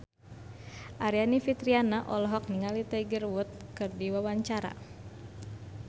Aryani Fitriana olohok ningali Tiger Wood keur diwawancara